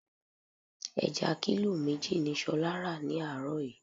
2. Ẹja kílò méjì ni ṣolá ra ni àárọ̀ yìí.